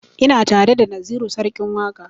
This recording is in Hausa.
Ina tare da naziru sarkin waƙa